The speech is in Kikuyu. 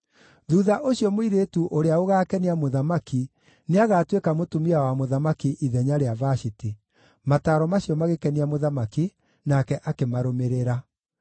Thuutha ũcio mũirĩtu ũrĩa ũgaakenia mũthamaki nĩagatuĩka mũtumia wa mũthamaki ithenya rĩa Vashiti.” Mataaro macio magĩkenia mũthamaki, nake akĩmarũmĩrĩra.